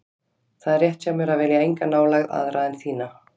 Það er rétt hjá mér að vilja enga nálægð aðra en þína.